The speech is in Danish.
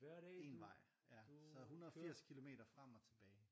Én vej ja så 180 kilometer frem og tilbage